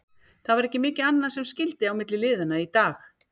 Það var ekki mikið annað sem skyldi á milli liðanna í dag.